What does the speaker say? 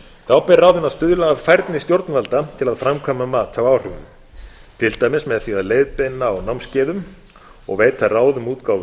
þá ber ráðinu að stuðla að færni stjórnvalda til að framkvæma mat á áhrifum til dæmis með því að leiðbeina á námskeiðum og veita ráð um útgáfu